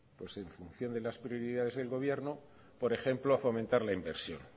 en función de las prioridades del gobierno por ejemplo a fomentar la inversión